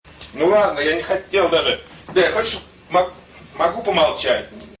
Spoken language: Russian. ну ладно я не хотел даже могу помолчать